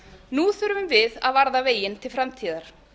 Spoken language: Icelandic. nú þurfum við að varða veginn til framtíðar